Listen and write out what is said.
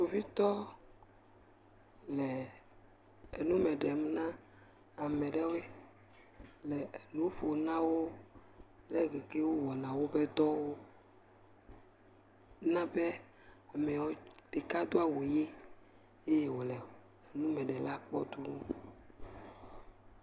kpovitɔ le enume ɖem na ameɖewoe le nuƒom nawo le ɖike wó wɔna wóbe dɔwo nabe miwo ɖeka dó awu yi ye wòle nume ɖem na wó tɔwo